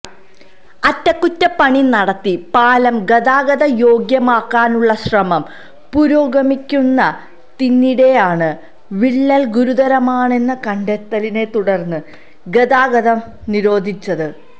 അറ്റകുറ്റപ്പണി നടത്തി പാലം ഗതാഗത യോഗ്യമാക്കാനുള്ള ശ്രമം പുരോഗമിക്കുന്നതിനിടെയാണ് വിള്ളൽ ഗുരുതരമാണെന്ന കണ്ടെത്തലിനെത്തുടർന്ന് ഗതാഗതം നിരോധിച്ചത്